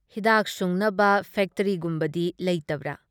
ꯍꯤꯗꯥꯥꯛ ꯁꯨꯡꯅꯕ ꯐꯦꯛꯇ꯭ꯔꯤꯒꯨꯝꯕꯗꯤ ꯂꯩꯇꯕ꯭ꯔꯥ?